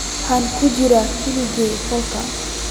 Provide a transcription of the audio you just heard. Waxaan ku jiray kaliya qolka